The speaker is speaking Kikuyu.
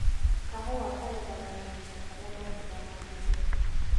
Kahũa kagethagwo kahinda karĩa matunda matunĩha.